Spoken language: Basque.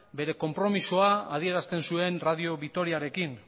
bere konpromisoa adierazten zuen radio vitoriarekin